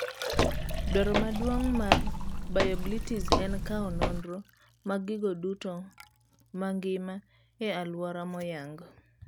Dwaro maduong' mar BioBlitz en kawo nonroo mag gigo duto mangima e aluora moyang.